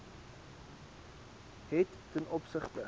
het ten opsigte